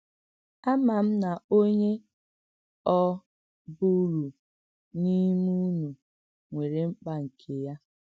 Àmà m nà ònyé ọ̀ bụ̀rù n’ímè ùnú nwèrè m̀kpà nke ya.